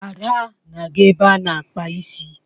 Ada na-aga ebe a na-akpa isi.